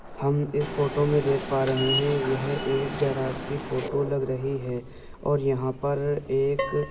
हम इस फोटो में देख पा रहे हैं यह एक गैराज की फोटो लग रही है और यहां पर एक --